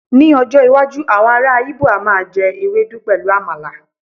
ní ọjọ iwaju awọn ara ibo a ma je ewedu pẹlu àmàlà